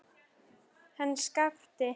Hann Skapti!